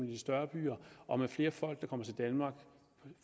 i de større byer og med flere folk der kommer til danmark